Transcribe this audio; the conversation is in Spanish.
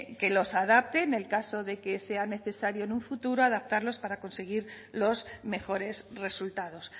que los adapte en el caso de que sea necesario en un futuro adaptarlos para conseguir los mejores resultados